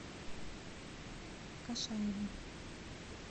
кашаеву